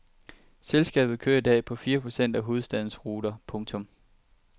Selskabet kører i dag på fire procent af hovedstadens ruter. punktum